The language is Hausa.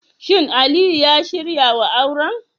Shin Aliyu ya shirya wa auren?